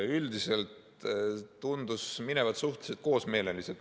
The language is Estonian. Üldiselt tundus minevat suhteliselt koosmeeleliselt.